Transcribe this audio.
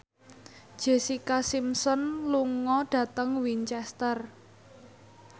Jessica Simpson lunga dhateng Winchester